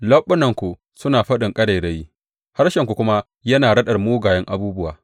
Leɓunanku suna faɗin ƙarairayi, harshenku kuma yana raɗar mugayen abubuwa.